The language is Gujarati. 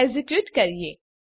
એક્ઝેક્યુટ કરીએ